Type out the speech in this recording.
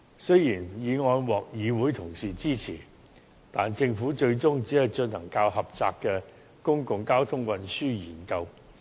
雖然議案獲議會同事支持，但政府最終只進行較狹窄的《公共交通策略研究》。